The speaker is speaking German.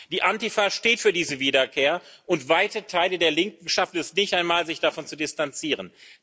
Die Antifa steht für diese Wiederkehr, und weite Teile der Linken schaffen es nicht einmal, sich davon zu distanzieren.